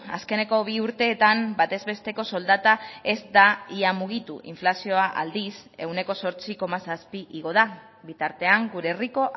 azkeneko bi urteetan batez besteko soldata ez da ia mugitu inflazioa aldiz ehuneko zortzi koma zazpi igo da bitartean gure herriko